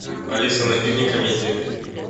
алиса найди мне комедию